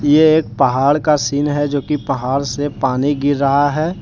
ये एक पहाड़ का सीन है जोकि पहाड़ से पानी गिर रहा है।